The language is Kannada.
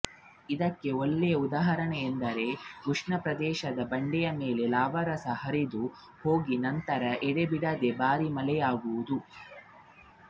ಇದಕ್ಕೆ ಒಳ್ಳೆಯ ಉದಾಹರಣೆ ಎಂದರೆ ಉಷ್ಣಪ್ರದೇಶದಲ್ಲಿ ಬಂಡೆಯ ಮೇಲೆ ಲಾವಾರಸವು ಹರಿದು ಹೋಗಿ ನಂತರ ಎಡೆಬಿಡದೆ ಭಾರೀ ಮಳೆಯಾಗುವುದು